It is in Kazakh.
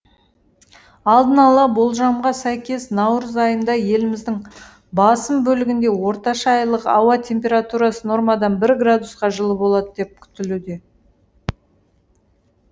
алдын ала болжамға сәйкес наурыз айында еліміздің басым бөлігінде орташа айлық ауа температурасы нормадан бір градусқа жылы болады деп күтілуде